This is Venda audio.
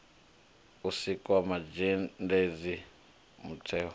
u sikwa mazhendedzi mutheo wa